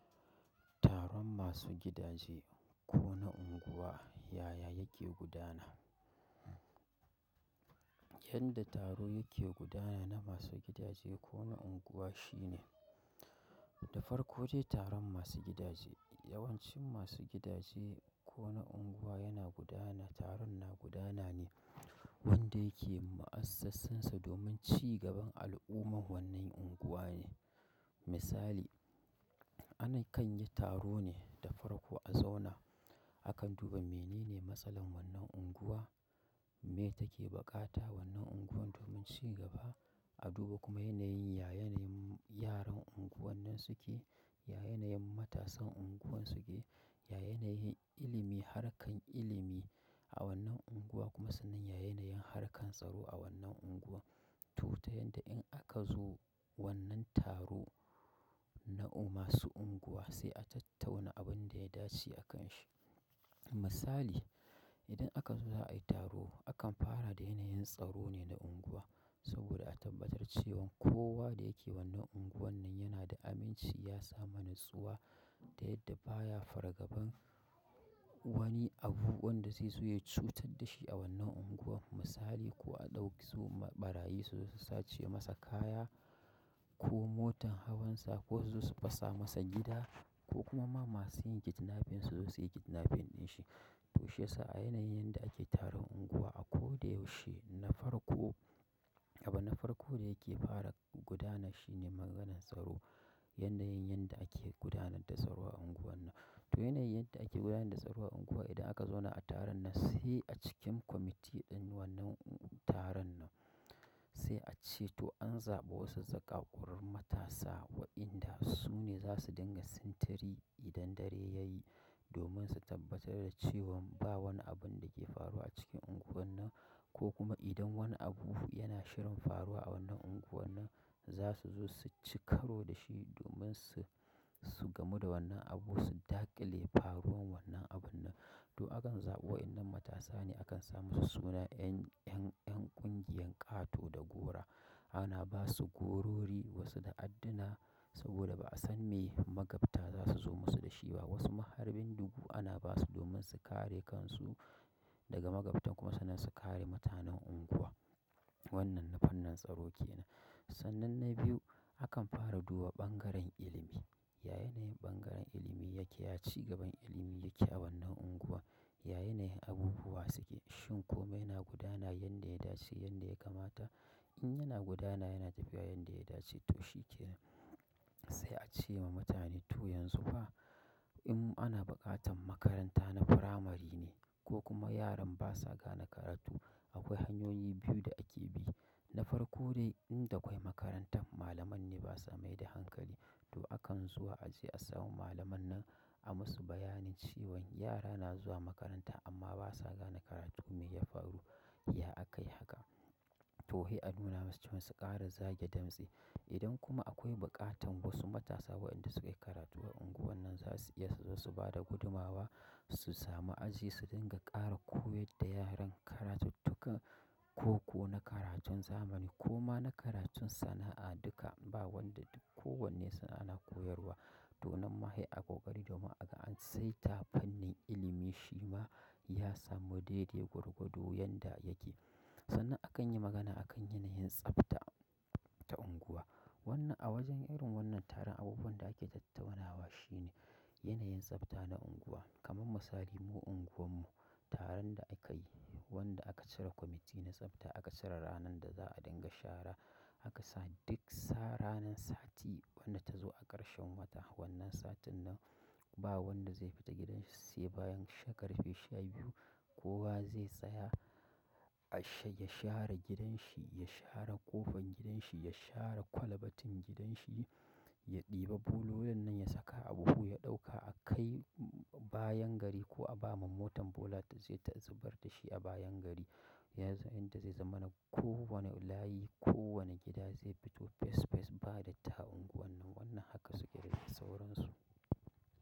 Taron masu gidaje ko na unguwa, yaya yake gudana? Yanda taro yake gudana na masu gidaje ko na unguwa shine, da farko dai taron masu gidaje, yawancin masu gidaje ko na unguwa yana gudana, taron na gudana ne wanda yake mu'assansa domin cigaban al'ummar wannan unguwa ne. Misali, ana kan yi taro ne da farko a zauna akan duba menene matsalan wannan unguwa, me take buƙata wannan unguwar domin cigaba. Aduba kuma yanayi ya yanayin yaran unguwan nan suke, ya yanayin matasan unguwan suke, ya yanayin ilimi harkan ilimi a wannan unguwan kuma sannan ya yanayin harkan tsaro a wannan unguwan to ta yanda in aka zo wannan taro na masu unguwa sai a tattauna abin da ya dace akanshi. Misali, idan aka zo za a yi taro, akan fara da yanayin tsaro ne na unguwa. Saboda a tabbatar cewan kowa da yake wannan unguwar nan yana da aminci, ya samu natsuwa ta yadda baya fargaban wani abu wanda zai zo ya cutar da shi a wannan unguwar. Misali, ko a ɗauki su ɓarayi su zo su sace masa kaya ko motan hawansa ko su zo su fasa masa gida ko kuma ma masu yin kidnaping su zo su yi kidnaping ɗin shi. To shi yasa a yanayin yanda ake taron unguwa a ko da yaushe na farko, abu na farko da yake fara gudana shine maganan tsaro. Yanayin yanda ake gudana da tsaro a unguwar nan. To yanayin yanda ake gudana da tsaro a unguwa idan aka zauna a taron nan sai a cikin kwamiti ɗin wannan taron nan sai a ce to an zaɓi wasu zakakkarun matasa waɗanda su ne za su dinga sintiri idan dare ya yi domin su tabbatar da cewan ba wani abun da ke faruwa a cikin unguwar nan ko kuma idan wani abu yana shirin faruwa a wannan unguwar nan za su zo su ci karo da shi domin su, su gamu da wannan abu su daƙile faruwan wannan abun nan. To akan zaɓi wa'innan matasa ne akan sa musu suna 'yan, 'yan, 'yan ƙungiyar ƙato da gora. Ana ba su gorori wasu da addina saboda ba a san me magabta za su zo musu da shi ba. Wasu ma har bindigu ana ba su domin su kare kansu daga magabtan kuma sannan su kare mutanen unguwa. Wannan na fannin tsaro ke nan. Sannan na biyu akan fara duba ɓangaren ilimi. Yaya yanayin ɓangaren ilimi yake, ya cigaban ilimi yake a wannan unguwa, ya yanayin abubuwa suke. Shin ko me yana gudana? Yanda ya dace, yanda ya kamata? In yana gudana, yana tafiya yanda ya dace to shi ke nan. Sai a ce wa mutane to yanzu fa, in ana buƙatan makaranta na firamari ne ko kuma yaran basa gane karatu, akwai hanyoyi biyu da ake bi. Na farko dai in da kwai makarantar, malaman ne basa mai da hankali to akan zuwa a je a samo malaman nan a musu bayani cewan yara na zuwa makaranta amma basa gane karatu me ya faru, ya aka yi haka. To hei a nuna masu cewan su ƙara zage damtsi. Idan kuma akwai buƙatan wasu matasa wa'inda sukayi karatu a unguwar nan za su iya su zo su bada gudumawa, su samu aji su dinga ƙara koyar da yaran karatuttukan ko, ko na karatun zamani ko ma na karatun sana'a duka. Ba wanda, duk ko wanne sannan ana koyarwa. To nan ma hei a ƙoƙari domin aga an sai ta fannin ilimi shi ma ya samu dai-dai gwargwado yanda yake. Sannan akan yi magana akan yanayin tsafta ta unguwa. Wannan a wajen irin wannan taron abubuwan da ake tattaunawa shine yanayin tsafta na unguwa. Kaman misali mu unguwarmu taron da aka yi wanda aka cire kwamiti na tsafta aka cire ranan da za a dinga shara aka sa duk sa ranan sati wanda ta zo a ƙarshen wata wannan satin nan ba wanda zai fita gidan shi sai bayan ƙarfe sha biyu kowa zai tsaya a sha, ya share gidan shi, ya share ƙofan gidan shi, ya share kwalbatin gidan shi, ya ɗiba bulolin nan ya saka a buhu ya ɗauka a kai bayan gari ko a ba ma motan bola ta je ta zubar da shi a bayan gari. Ya za, yanda zai zama na ko wane layi, ko wane gida zai fito fes fes ba datti a unguwar nan wannan haka su ƙirƙiri sauran su.